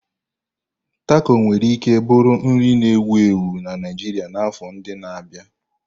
Tako nwere ike bụrụ nri na-ewu ewu na Naijiria n'afọ ndị na-abịa.